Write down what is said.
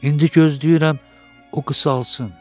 İndi gözləyirəm o qısalsın.